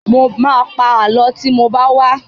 Mo ma pa Àlọ́ tí mo bá wá